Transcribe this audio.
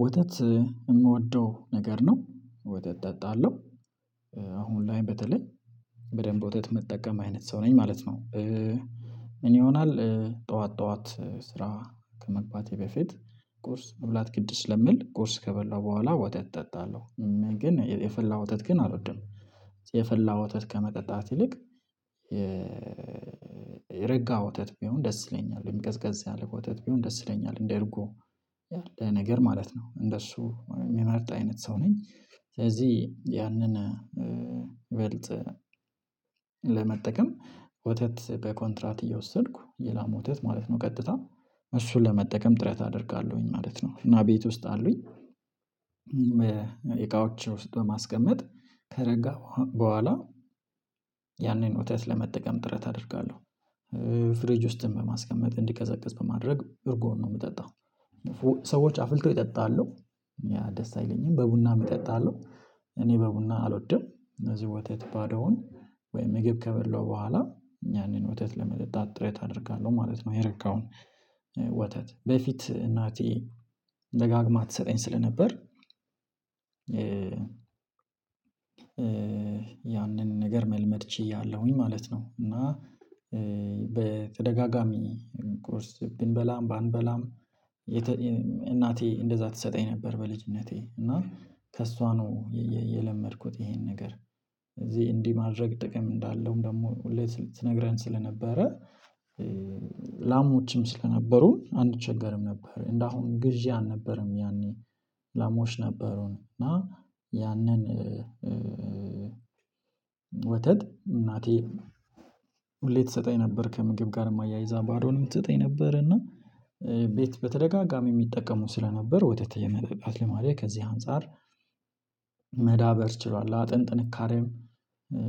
ወተት ምወደው ነገር ነው። ወተት እጠጣለሁ አሁን ላይ በተለይ በደንብ ወተት ምጠቀም አይነት ሰው ነኝ ማለት ነው። ምን ይሆናል ጠዋት ጠዋት ስራ ከመግባቴ በፊት ቁርስ መብላት ግድ ስለሚል ቁርስ ከበላው በኋላ ወተት እጠጣለሁ ግን የፈላ ወተት ግን አልወድም። የፈላ ወተት ከመጠጣት ይልቅ የረጋ ወተት ቢሆን ደስ ይለኛል ወይም ቀዝቀዝ ያለ ወተት ቢሆን ደስ ይለኛል እንደርጎ ያለ ነገር ማለት ነው። እንደሱ የምመርጥ አይነት ሰው ነኝ ስለዚህ ያንን በልተህ ለመጠቀም ወተት በኮንትራት እየወሰድኩ የላም ወተት ማለት ነው ቀጥታ እሱን ለመጠቀም ጥረት አደርጋለሁኝ ማለት ነው። እና ቤት ውስጥ አሉኝ እቃወቸ ውስጥ በማስቀመጥ ከረጋ በኋላ ያንን ወተት ለመጠቀም ጥረት አደርጋለሁ። ፍረጅ ውስጥም በማስቀመጥ እንዲቀዘቅዝ በማድረግ እርጎን ነው የምጠጣው። ሰዎች አፍልቶ ይጠጣሉ ያ ደስ አይለኝም በቡና እጠጣለሁ እኔ በቡና አልወድም። እነዚህ ወተት ባዶውን ወይም ምግብ ከበላው በኋላ ያንን ወተት ለመጠጣት ጥሬት አደርጋለሁ ማለት ነው። የረጋውን ወተት በፊት እናቴ ደጋግማ ትሰጠኝ ስለነበር ያንን ነገር መልመድ ችያለሁኝ ማለት ነው። እና በተደጋጋሚ ቁርስ ብንበላም ባንበላም እናቴ እንደዛ ትሰጠኝ ነበር በልጅነቴ እና ከእሷ ነው የለመድኩት ይሄን ነገር እዚህ እንዲህ ማድረግ ጥቅም እንዳለውም ደግሞ ሁሌ ትነግረን ስለነበረ ላሞችም ስለነበሩን አንቸገርም ነበር። እንደ አሁኑ ግዢ አልነበረም ያኔ ላሞች ነበሩን። እና ያንን ወተት እናቴ ሁሌ ትሰጠኝ ነበር ከምግብ ጋርም አያይዛ ባዶንም ትሰጠኝ ነበር። እና ቤት በተደጋጋሚ የሚጠቀሙ ስለነበር ወተት የመጠጣት ልማዴ ከዚህ አንፃር መዳበር ችሏል። አጥንት ጥንካሬም